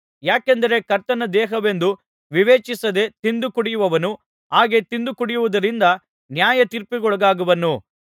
ಯಾಕೆಂದರೆ ಕರ್ತನ ದೇಹವೆಂದು ವಿವೇಚಿಸದೇ ತಿಂದು ಕುಡಿಯುವವನು ಹಾಗೆ ತಿಂದು ಕುಡಿಯುವುದರಿಂದ ನ್ಯಾಯತೀರ್ಪಿಗೊಳಗಾಗುವನು